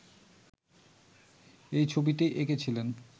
এই ছবিটি এঁকেছিলেন